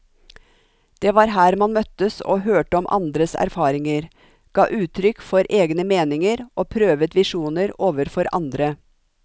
Det var her man møttes og hørte om andres erfaringer, ga uttrykk for egne meninger og prøvet visjoner overfor andre.